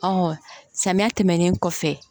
samiya tɛmɛnen kɔfɛ